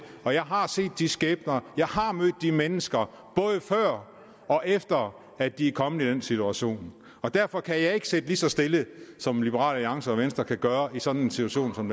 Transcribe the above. og jeg har set de skæbner jeg har mødt de mennesker både før og efter at de kommet i den situation derfor kan jeg ikke sidde lige så stille som liberal alliance og venstre kan gøre i sådan en situation som